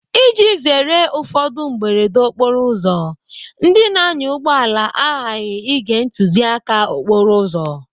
Iji zere ụfọdụ mberede okporoụzọ, ndị na-anya ụgbọala aghaghị ige ntụziaka okporo ụzọ.